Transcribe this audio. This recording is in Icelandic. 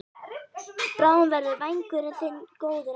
Bráðum verður vængurinn þinn góður aftur.